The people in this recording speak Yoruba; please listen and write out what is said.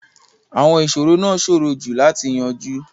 Àwọn ìṣòro náà ṣòro jù láti yanjú.